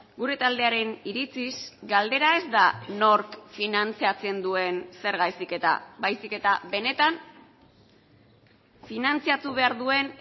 gure taldearen iritziz galdera ez da nork finantzatzen duen zerga heziketa baizik eta benetan finantzatu behar duen